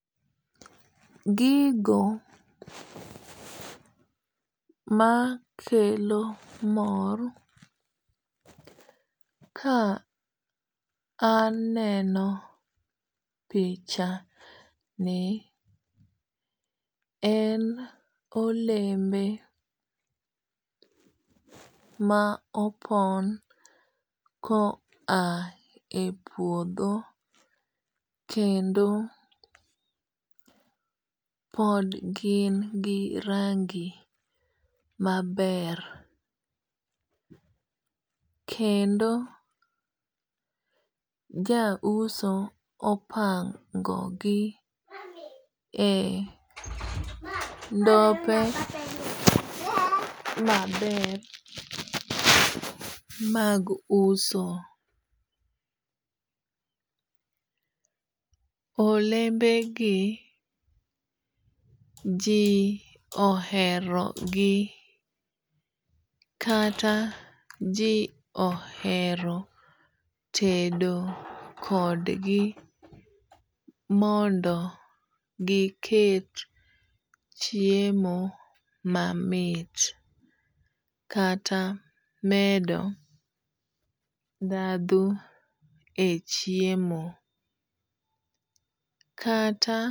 Gigo makelo mor ka aneno pichani en olembe ma opon ko a e puodho kendo pod gin gi rangi maber. Kendo ja uso opango gi e ndope maber mag uso. Olembe gi ji ohero gi kata ji ohero tedo kod gi mondo giket chiemo mamit kata medo dhadho e chiemo. Kata.